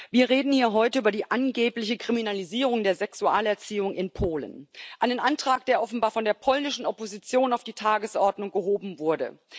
Wir reden hier heute über die angebliche Kriminalisierung der Sexualerziehung in Polen einen Antrag, der offenbar von der polnischen Opposition auf die Tagesordnung gehoben wurde.